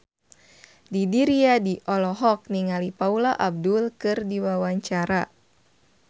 Didi Riyadi olohok ningali Paula Abdul keur diwawancara